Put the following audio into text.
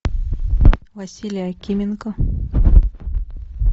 василий акименко